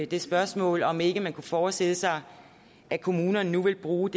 det spørgsmål om ikke man kunne forestille sig at kommunerne nu vil bruge